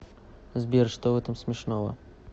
сбер что в этом смешного